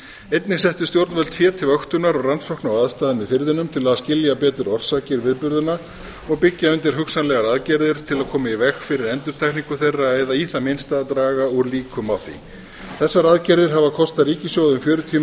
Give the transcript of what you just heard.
einnig settu stjórnvöld fé til vöktunar og rannsókna á aðstæðum í firðinum til að skilja betur orsakir viðburðanna og byggja undir hugsanlegar aðgerðir til að koma í veg fyrir endurtekningu þeirra eða í það minnsta draga úr líkum á því þessar aðgerðir hafa kostað ríkissjóð fjörutíu